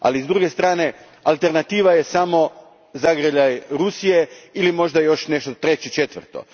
Ali, s druge strane alternativa je samo zagrljaj Rusije ili možda još nešto treće, četvrto.